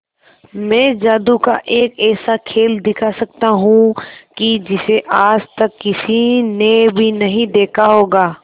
मैं जादू का एक ऐसा खेल दिखा सकता हूं कि जिसे आज तक किसी ने भी नहीं देखा होगा